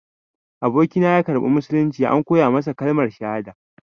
Abokina ya karɓi musulunci, an koya masa kalmar shahada.